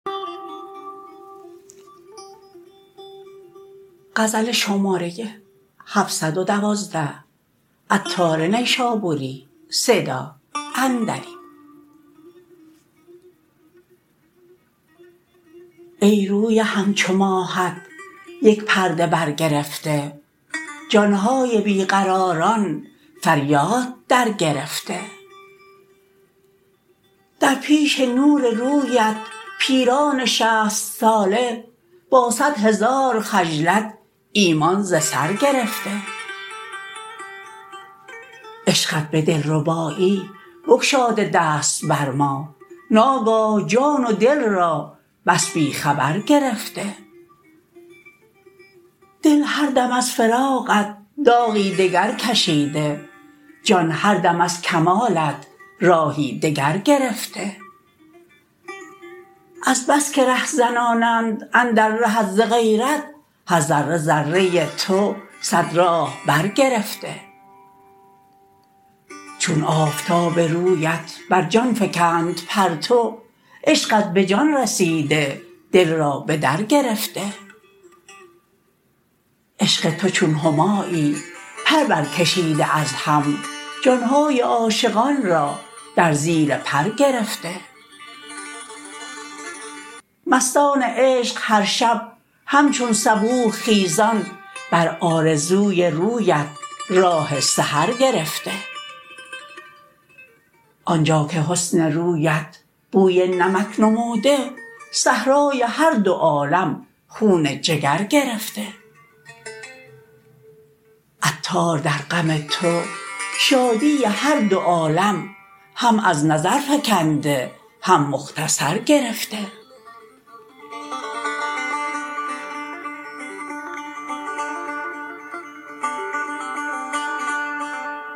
ای روی همچو ماهت یک پرده بر گرفته جان های بی قراران فریاد در گرفته در پیش نور رویت پیران شصت ساله با صد هزار خجلت ایمان ز سر گرفته عشقت به دلربایی بگشاده دست بر ما ناگاه جان و دل را بس بی خبر گرفته دل هر دم از فراقت داغی دگر کشیده جان هر دم از کمالت راهی دگر گرفته از بس که رهزنانند اندر رهت ز غیرت هر ذره ذره تو صد راه بر گرفته چون آفتاب رویت بر جان فکند پرتو عشقت به جان رسیده دل را به در گرفته عشق تو چون همایی پر بر کشیده از هم جان های عاشقان را در زیر پر گرفته مستان عشق هر شب همچون صبوح خیزان بر آرزوی رویت راه سحر گرفته آنجا که حسن رویت بوی نمک نموده صحرای هر دو عالم خون جگر گرفته عطار در غم تو شادی هر دو عالم هم از نظر فکنده هم مختصر گرفته